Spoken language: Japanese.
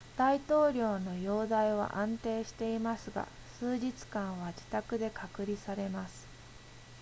大統領の容態は安定していますが数日間は自宅で隔離されます